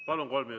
Palun!